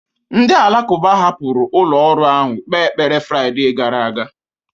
Ndị Alakụba hapụrụ ụlọ ọrụ ahụ kpee ekpere Fraịde gara aga